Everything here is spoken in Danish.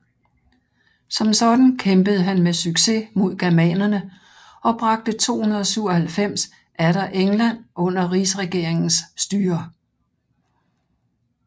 Som sådan kæmpede han med succes mod germanerne og bragte 297 atter England under rigsregeringens styre